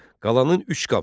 Qalanın üç qapısı var.